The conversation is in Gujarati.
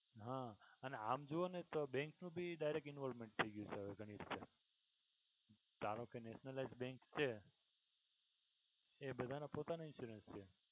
હા અને આમ જુઓ ને તો bank નું ભી direct involvment થઈ ગયું છે ઘણીક ધારોકે nationalised bank છે એ બધાનો પોતાનો ઇન્સ્યોરન્સ છે.